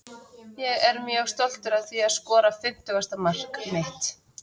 Ég er mjög stoltur að því að skora fimmtugasta mark mitt.